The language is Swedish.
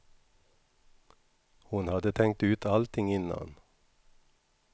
Hon hade tänkt ut allting innan.